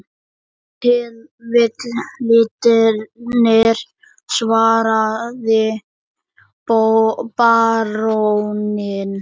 Ef til vill litirnir, svaraði baróninn.